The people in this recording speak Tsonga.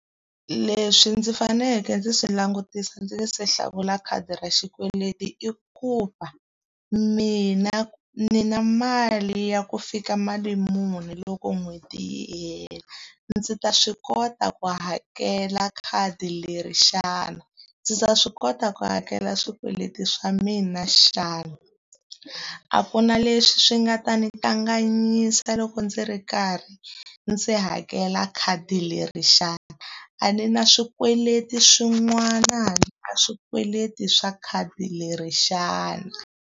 Leswi ndzi faneleke ndzi swi langutisa ndzi nga se hlawula khadi ra xikweleti i ku va, mina ni na mali ya ku fika mali muni loko n'hweti yi hela. Ndzi ta swi kota ku hakela khadi leri xana? Ndzi ta swi kota ku hakela swikweleti swa mina xana? A ku na leswi swi nga ta ndzi kanganyisa loko ndzi ri karhi ndzi hakela khadi leri xana? A ni na swikweleti swin'wana handle ka swikweleti swa khadi leri xana?